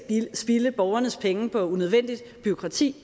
spilde borgernes penge på unødvendigt bureaukrati